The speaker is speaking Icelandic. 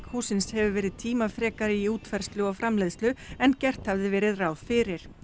hússins hefur verið tímafrekari í útfærslu og framleiðslu en gert hafði verið ráð fyrir